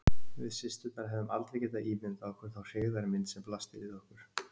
Við systurnar hefðum aldrei getað ímyndað okkur þá hryggðarmynd sem blasti við okkur.